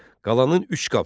Qalanın üç qapısı var.